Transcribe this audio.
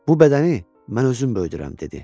Bu bədəni mən özüm böyüdürəm, dedi.